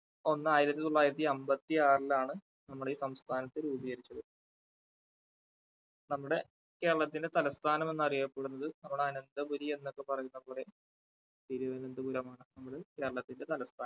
ഒന്ന് ആയിരത്തി തൊള്ളായിരത്തി അമ്പത്തി ആറിലാണ് നമ്മുടെ ഈ സംസ്ഥാനത്ത് രൂപീകരിച്ചത്. നമ്മുടെ കേരളത്തിന്റെ തലസ്ഥാനം എന്നറിയപ്പെടുന്നത് നമ്മുടെ അനന്തപുരി എന്നൊക്കെ പറയുന്ന നമ്മുടെ തിരുവന്തപുരമാണ് നമ്മുടെ കേരളത്തിന്റെ തലസ്ഥാനം.